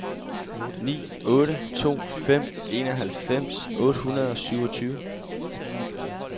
ni otte to fem enoghalvfems otte hundrede og syvogtyve